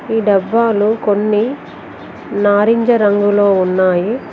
ఈ డబ్బాలు కొన్ని నారింజ రంగులో ఉన్నాయి.